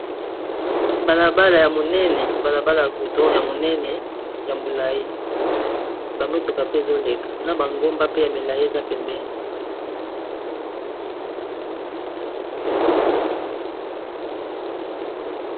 Bala bala ya munene, bala bala ya goudron ya monene ya molayi ba motuka pe ezoleka na ba ngomba pe ya milayi eza pembeni.